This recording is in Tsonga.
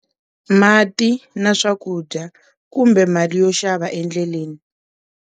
Mati na swakudya kumbe mali yo xava endleleni.